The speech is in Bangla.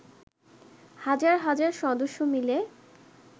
হাজার হাজার সদস্য মিলে